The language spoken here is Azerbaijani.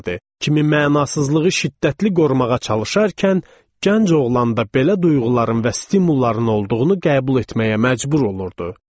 Kimi mənasızlığı şiddətli qorumağa çalışarkən, gənc oğlan da belə duyğuların və stimulaların olduğunu qəbul etməyə məcbur olurdu.